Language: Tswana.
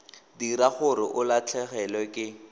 dira gore o latlhegelwe ke